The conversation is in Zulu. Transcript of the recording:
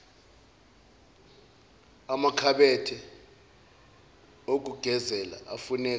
amakhabethe okugezela afuneka